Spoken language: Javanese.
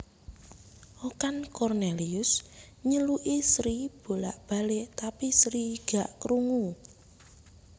Okan Cornelius nyeluki Sri bolak balek tapi Sri gak krungu